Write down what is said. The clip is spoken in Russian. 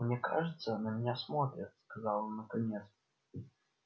мне кажется на меня смотрят сказал он наконец